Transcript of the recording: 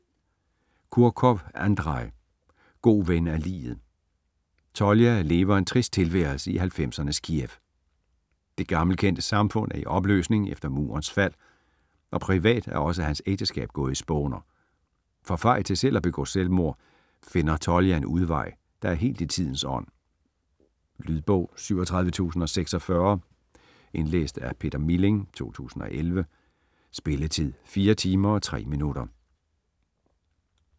Kurkov, Andrej: God ven af liget Tolja lever en trist tilværelse i 90'ernes Kiev. Det gammelkendte samfund er i opløsning efter murens fald, og privat er også hans ægteskab gået i spåner. For fej til selv at begå selvmord finder Tolja en udvej, der er helt i tidens ånd. Lydbog 37046 Indlæst af Peter Milling, 2011. Spilletid: 4 timer, 3 minutter.